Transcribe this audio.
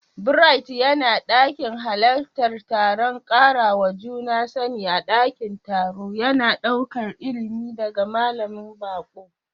Bright yana ɗokin halartar taron karawa juna sani a ɗakin taro, yana ɗaukar ilimi daga malamin baƙo.